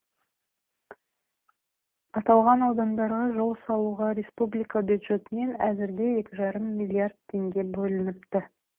аталған аудандарға жол салуға республика бюджетінен әзірге екі жарым миллиард теңге бөлініпті